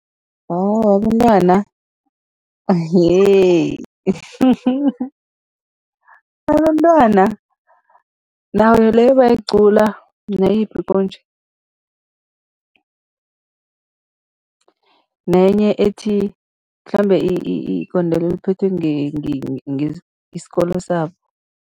Abantwana abantwana, nayo leyo bayayicula, nayiphi konje? Nenye ethi, mhlambe igondelo liphethwe isikolo sabo.